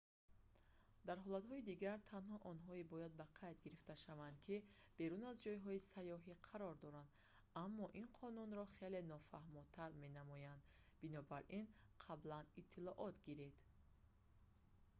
дар ҳолатҳои дигар танҳо онҳое бояд ба қайд гирифта шаванд ки берун аз ҷойҳои сайёҳӣ қарор доранд аммо ин қонунро хеле нофаҳмотар менамояд бинобар ин қаблан иттилоот гиред